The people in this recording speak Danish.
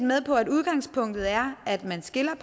med på at udgangspunktet er at man skiller